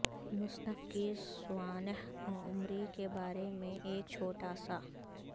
مصنف کی سوانح عمری کے بارے میں ایک چھوٹا سا